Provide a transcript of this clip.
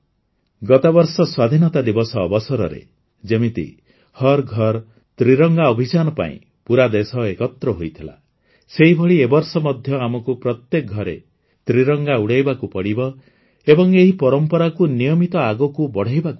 ଗତବର୍ଷ ସ୍ୱାଧୀନତା ଦିବସ ଅବସରରେ ଯେମିତି ହର୍ ଘର ତ୍ରିରଙ୍ଗା ଅଭିଯାନ ପାଇଁ ପୁରା ଦେଶ ଏକତ୍ର ହୋଇଥିଲା ସେହିଭଳି ଏ ବର୍ଷ ମଧ୍ୟ ଆମକୁ ପ୍ରତ୍ୟେକ ଘରେ ତ୍ରିରଙ୍ଗା ଉଡ଼ାଇବାକୁ ପଡ଼ିବ ଏବଂ ଏହି ପରମ୍ପରାକୁ ନିୟମିତ ଆଗକୁ ବଢ଼ାଇବାକୁ ହେବ